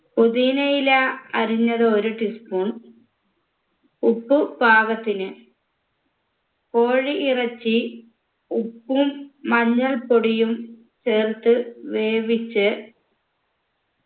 പൊതീനയില അരിഞ്ഞത് ഒരു tea spoon ഉപ്പ് പാകത്തിന് കോഴി ഇറച്ചി ഉപ്പും മഞ്ഞൾപ്പൊടിയും ചേർത്ത് വേവിച്ച്